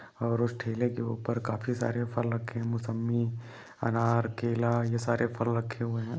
और उस ठेले के ऊपर काफी सारे फल रखे हैं मोसंबी अनार केला ये सारे फल रखे हुए हैं।